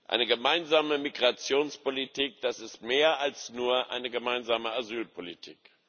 Eine gemeinsame Migrationspolitik das ist mehr als nur eine gemeinsame Asylpolitik.